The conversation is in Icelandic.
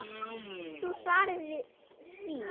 Veist þú svarið við því?